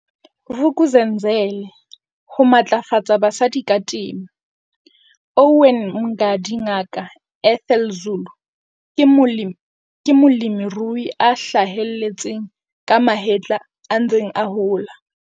Vuk'uzenzele Ho matlafatsa basadi ka temo, Owen Mngadi Ngaka Ethel Zulu ke molemirui a hlaheletseng ka mahetla a ntseng a hola.